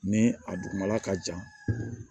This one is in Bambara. Ni a dugumala ka jan